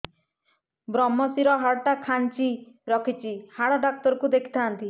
ଵ୍ରମଶିର ହାଡ଼ ଟା ଖାନ୍ଚି ରଖିଛି ହାଡ଼ ଡାକ୍ତର କୁ ଦେଖିଥାନ୍ତି